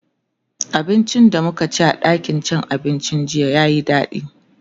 abincin da mukaci a ɗakin cin abincin jiya yayi daɗi